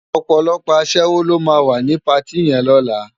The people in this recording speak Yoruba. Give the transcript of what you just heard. Òpòlòpò aṣèwó ló má wá ni páti yèn lòlá